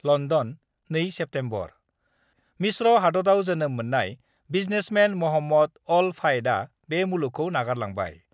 London, 2 September : मिस्र हादतयाव जोनोम मोननाय बिजनेसमेन महम्मद अल फायदआ बे मुलुगखौ नागारलांबाय।